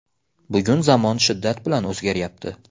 Bugun zamon shiddat bilan o‘zgaryapti.